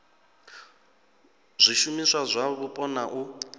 zwishumiswa zwa mupo na u